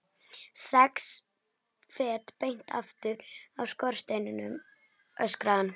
Sex fet beint aftur af skorsteininum, öskraði hann.